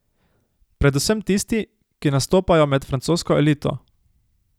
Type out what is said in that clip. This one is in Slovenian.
Predvsem tisti, ki nastopajo med francosko elito.